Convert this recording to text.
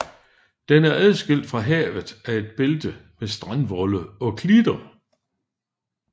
Den er adskilt fra havet af et bælte med strandvolde og klitter